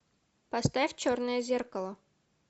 поставь черное зеркало